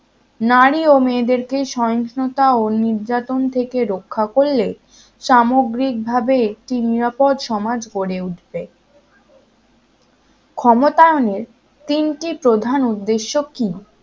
নারী ও মেয়েদেরকে সোয়ষ্ণুতা নির্যাতন থেকে রক্ষা করলে সামগ্রিকভাবে কি নিরাপদ সমাজ গড়ে উঠবে ক্ষমতায়নের তিনটি প্রধান উদ্দেশ্য কি